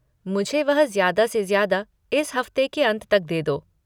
मुझे वह ज्यादा से ज्यादा इस हफ़्ते के अंत तक दे दो।